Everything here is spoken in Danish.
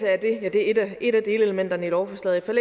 det er et af delelementerne i lovforslaget og